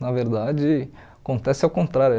Na verdade, acontece ao contrário.